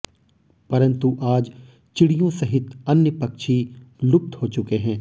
परंतु आज चिड़ियों सहित अन्य पक्षी लुप्त हो चुके हैं